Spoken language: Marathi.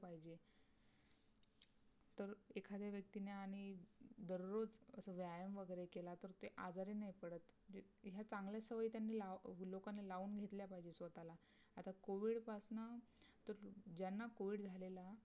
एखाद्या व्यक्तीने आणि दररोज व्यायाम वगैरे केला तर ते आजारी नाही पडत. ह्या चांगल्या सवय त्यांनी लावू लोकांना लावून घेतल्या पाहिजे स्वतःला. आता covid पासून तर ज्यांना covid झालेला